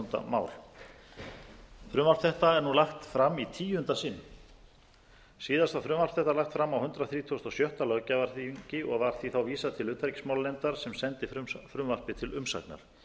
var frumvarp þetta lagt fram á hundrað þrítugasta og sjötta löggjafarþingi og var því þá vísað til utanríkismálanefndar sem sendi frumvarpið til umsagnar